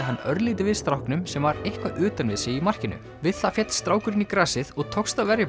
hann örlítið við stráknum sem var eitthvað utan við sig í markinu við það féll strákurinn í grasið og tókst að verja